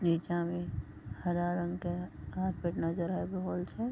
नीचा में हरा रंग के कार्पेट नजर आ रहोल छय।